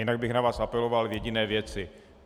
Jinak bych na vás apeloval v jediné věci.